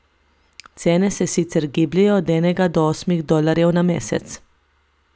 Cene se sicer gibljejo od enega do osmih dolarjev na mesec.